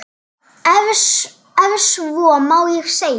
Ef svo má segja.